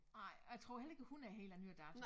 Nej og jeg tror heller ikke hun er helt af nyere dato